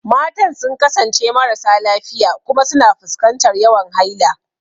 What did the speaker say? Matan sun kasance marasa lafiya kuma suna fuskantar yawan haila.